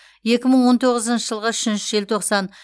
екі мың он тоғызыншы жылғы үшінші желтоқсан